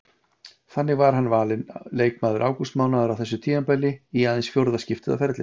Þannig var hann valinn leikmaður ágústmánaðar á þessu tímabili í aðeins fjórða skiptið á ferlinum.